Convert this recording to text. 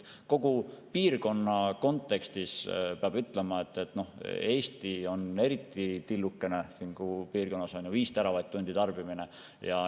Kogu piirkonna kontekstis peab ütlema, et Eesti on siin piirkonnas eriti tillukene: 5 teravatt-tundi tarbimine.